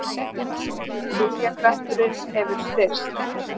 Viljakrafturinn hefur styrkst.